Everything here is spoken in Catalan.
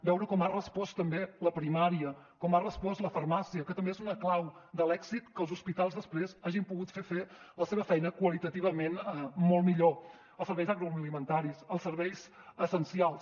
veure com ha respost també la primària com ha respost la farmàcia que també és una clau de l’èxit que els hospitals després hagin pogut fer la seva feina qualitativament molt millor els serveis agroalimentaris els serveis essencials